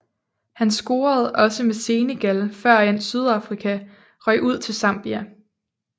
Han scorede også med Senegal førend Sydafrika røg ud til Zambia